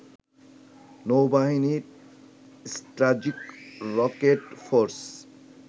নৌবাহিনী, strategic rocket force